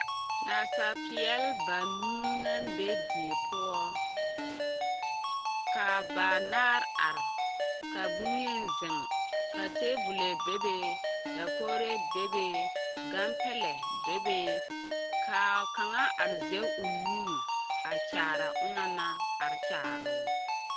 Nasapeɛle banuu na be die poɔ ka banaare are ka bonyeni zeŋ ka teebolo bebe ka dakogire bebe gampɛlɛ bebe ka kaŋa are zɛge o nu a kyaare a onaŋ naŋ are kyaaroo.